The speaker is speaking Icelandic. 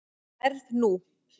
Verð nú.